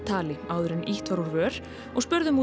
tali áður en ýtt var úr vör og spurðum